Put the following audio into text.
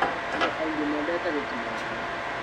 Andũ aingĩ mendete gũtuma nguo.